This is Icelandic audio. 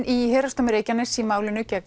í Héraðsdómi Reykjaness í málinu gegn